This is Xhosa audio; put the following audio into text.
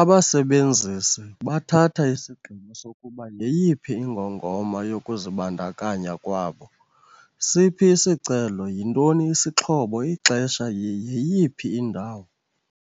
"Abasebenzisi bathatha isigqibo sokuba yeyiphi ingongoma yokuzibandakanya kwabo - siphi isicelo, yintoni isixhobo, ixesha, yeyiphi indawo."